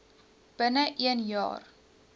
binne een jaar